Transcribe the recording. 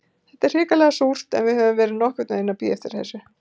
Þetta er hrikalega súrt, en við höfðum verið nokkurn veginn að bíða eftir þessu.